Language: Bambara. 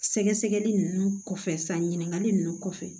Sɛgɛsɛgɛli ninnu kɔfɛ san ɲininkali ninnu kɔfɛ